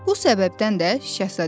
Bu səbəbdən də Şəhzadə dedi: